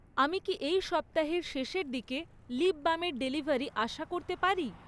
আমি কি এই সপ্তাহের শেষের দিকে লিপ বামের ডেলিভারি আশা করতে পারি?